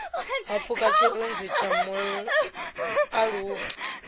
ha pfuka tshirunzi tsha mualuwa